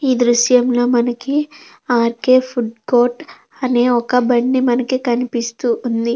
ఈ దృశ్యంలో మనకి ఆర్కే ఫుడ్ కోర్ట్ అని ఒక బండి మనకి కనిపిస్తుంది.